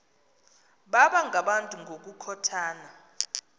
baba ngabantu ngokukhothana